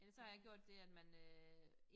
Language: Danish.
Ellers så har jeg gjort det at man øh